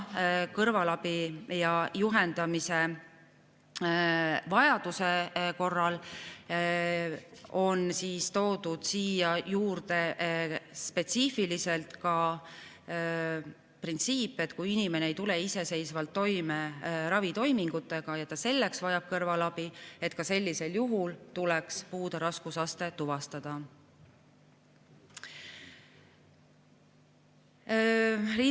Kõrvalabi ja juhendamise vajaduse korral on toodud siia juurde spetsiifiliselt ka printsiip, et kui inimene ei tule iseseisvalt toime ravitoimingutega ja vajab siin kõrvalabi, siis ka sellisel juhul tuleks puude raskusaste tuvastada.